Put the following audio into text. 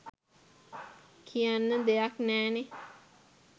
කියන්න දෙයක් නෑනේ.